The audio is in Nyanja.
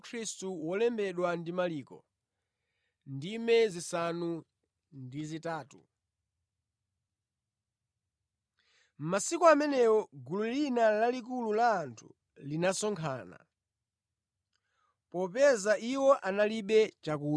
Mʼmasiku amenewo gulu lina lalikulu la anthu linasonkhana. Popeza iwo analibe chakudya, Yesu anayitana ophunzira ake nati kwa iwo,